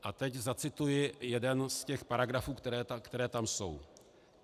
A teď zacituji jeden z těch paragrafů, které tam jsou.